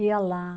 Ia lá.